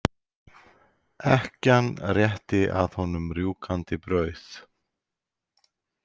Ekkjan rétti að honum rjúkandi brauð.